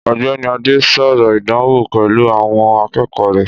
Ọ̀gbẹ́ni Adé sọ̀rọ̀ ìdánwò pẹ̀lú àwọn akẹ́kọ̀ọ́ rẹ̀